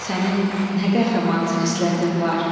sənin nə qəhrəman xislətin var!